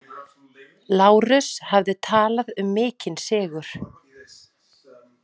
Lárus hafði talað um mikinn sigur.